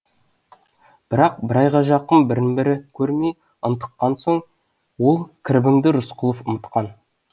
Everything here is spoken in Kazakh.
бірақ бір айға жақын бірін бірі көрмей ынтыққан соң ол кірбіңді рысқұлов ұмытқан